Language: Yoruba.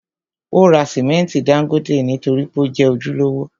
Ó ra simẹnti dángótè nítorí pé ó jẹ́ ojúlówó.